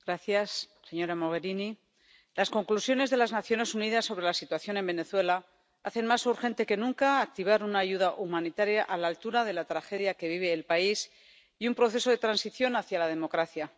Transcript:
Señor presidente, señora Mogherini, las conclusiones de las Naciones Unidas sobre la situación en Venezuela hacen más urgente que nunca activar una ayuda humanitaria a la altura de la tragedia que vive el país y un proceso de transición hacia la democracia.